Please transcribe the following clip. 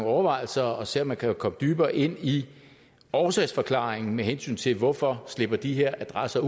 overvejelser og se om man kan komme dybere ind i årsagsforklaringen med hensyn til hvorfor de her adresser